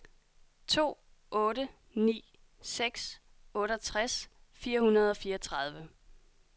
to otte ni seks otteogtres fire hundrede og fireogtredive